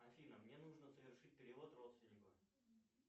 афина мне нужно совершить перевод родственнику